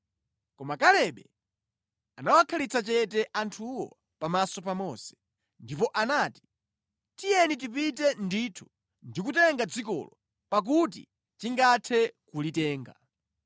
Koma Kalebe anawakhalitsa chete anthuwo pamaso pa Mose, ndipo anati, “Tiyeni tipite ndithu ndi kutenga dzikolo, pakuti tingathe kulitenga.”